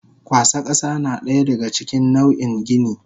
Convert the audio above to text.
Kwasa kasa nadaya daga cikin nau in gini.